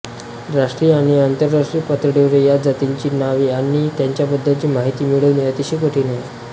राष्ट्रीय आणि आंतरराष्ट्रीय पातळीवर या जातींची नावे आणि त्यांच्याबद्दलची माहिती मिळवणे अतिशय कठीण आहे